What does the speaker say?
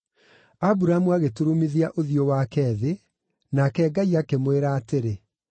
Aburamu agĩturumithia ũthiũ wake thĩ, nake Ngai akĩmwĩra atĩrĩ,